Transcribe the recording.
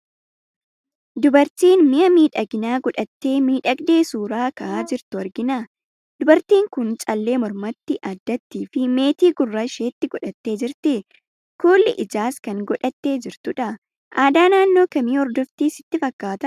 Dubartii mi'a miidhaginaa godhattee miidhagdee suuraa ka'aa jirtu argina. Dubartiin kun callee mormatti, addattii fi meetii gurra isheetti godhattee jirti. Kuulii ijaas kan godhattee jirtudha. Aadaa naannoo kamii hordofti sitti fakkaata?